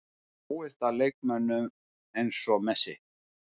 Ég dáist að leikmönnum eins og Messi.